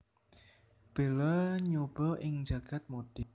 Bella nyoba ing jagad modé